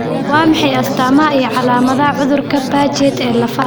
Waa maxay astamaha iyo calaamadaha cudurka Paget ee lafaha?